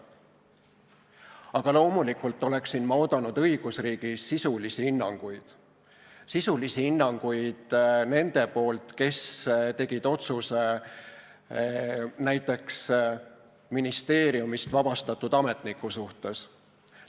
Aga loomulikult oleksin ma oodanud õigusriigis sisulisi hinnanguid – sisulisi hinnanguid nendelt, kes tegid otsuse näiteks ministeeriumist vabastatud ametniku suhtes.